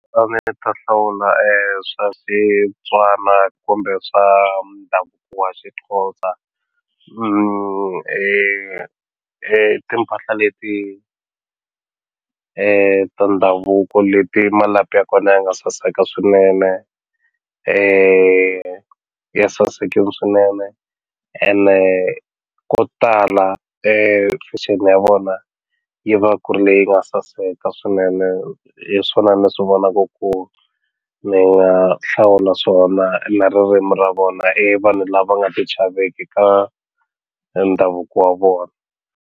A ni ta hlawula swa kumbe swa ndhavuko wa Xixhosa timpahla leti ta ndhavuko leti malapi ya kona ya nga saseka swinene ya sasekini swinene ene ko tala fashion ya vona yi va ku ri leyi nga saseka swinene hi swona ni swi vonaku ku ni nga hlawuli na swona na ririmi ra vona i vanhu lava nga ti chaveki ka ndhavuko wa vona.